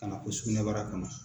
Ka na fo sugunɛbara kɔnɔ.